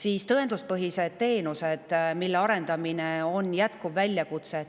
Ka tõenduspõhiste teenuste arendamine on jätkuv väljakutse.